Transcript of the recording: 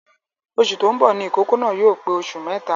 Oṣù tó ń bọ ní ìkókó náà yóò pe oṣù mẹ́ta